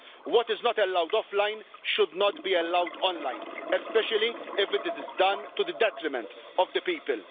What is not allowed offline should not be allowed online, especially if it is done to the detriment of the people.